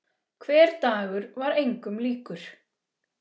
Hver dagur var engum líkur.